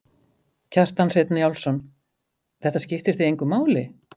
Kjartan Hreinn Njálsson: Þetta skiptir þig engu máli?